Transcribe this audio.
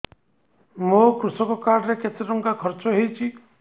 ମୋ କୃଷକ କାର୍ଡ ରେ କେତେ ଟଙ୍କା ଖର୍ଚ୍ଚ ହେଇଚି